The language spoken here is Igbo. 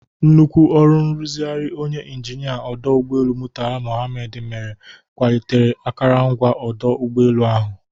Nnukwu ọrụ nrụzigharị onye injinịa ọdụ ụgbọelu Murtala Mohammed mere kwalitere akụrụngwa ọdụ ụgbọelu ahụ.